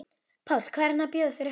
Páll: Hvað er hann að bjóða þér upp á?